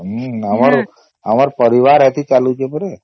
ହମ୍ମ ଆମର ପରିବାର ଏଠି ଚାଲୁଚେ